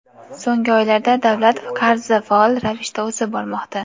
So‘nggi oylarda davlat qarzi faol ravishda o‘sib bormoqda.